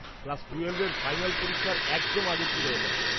Class টুয়েলভের final পরীক্ষার একদম আগে ছিল ওটা।